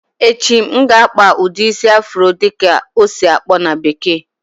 Echi, M ga akpa ụdị isi "Afro"dị ka ọ esi-akpọ na bekee